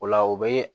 O la o be